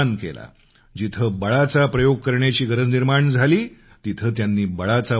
जिथं बळाचा प्रयोग करण्याची गरज निर्माण झाली तिथं त्यांनी बळाचा वापर केला